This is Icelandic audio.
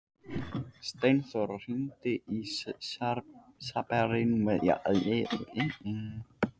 Steinþóra, hringdu í Sabrínu eftir áttatíu og sjö mínútur.